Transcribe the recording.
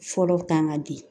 Fɔlɔ kan ka di